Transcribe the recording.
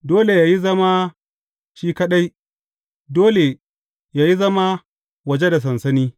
Dole yă yi zama shi kaɗai; dole yă yi zama waje da sansani.